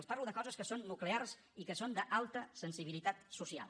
els parlo de coses que són nuclears i que són d’alta sensibilitat social